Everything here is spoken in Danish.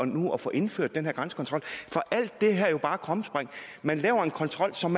nu at få indført den her grænsekontrol for alt det her er jo bare krumspring man laver en kontrol som